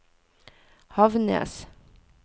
Havnnes